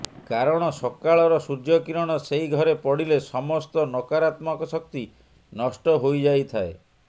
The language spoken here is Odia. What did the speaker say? କାରଣ ସକାଳର ସୂର୍ଯ୍ୟ କିରଣ ସେଇ ଘରେ ପଡ଼ିଲେ ସମସ୍ତ ନକାରାତ୍ମକ ଶକ୍ତି ନଷ୍ଟ ହୋଇଯାଇଥାଏ